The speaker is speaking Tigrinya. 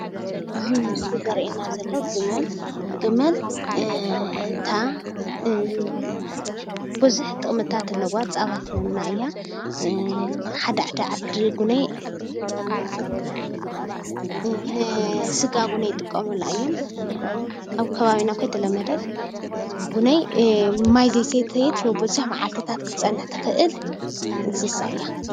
እዚ ምስሊ እንስሳ ዘቤት እንትኸውን ሽሙ ከዓ ገመል ዝበሃል ኮይኑ ንፅዕነት ይጠቅም።